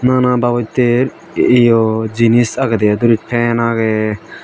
nana babotter yo jinis agede i duris pan age.